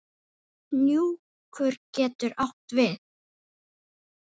Hnjúkur getur átt við